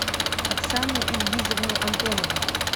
оксану ильгизовну антонову